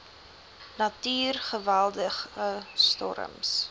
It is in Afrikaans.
natuur geweldige storms